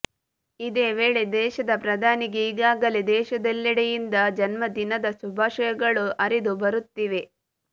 ಇದೇ ವೇಳೆ ದೇಶದ ಪ್ರಧಾನಿಗೆ ಈಗಾಗಲೇ ದೇಶದಲ್ಲೇಡೆಯಿಂದ ಜನ್ಮದಿನದ ಶುಭಷಯಗಳು ಹರಿದು ಬರುತ್ತಿವೆ